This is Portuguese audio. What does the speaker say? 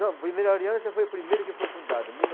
Não, Primeira Aliança foi a primeira que foi fundada, mil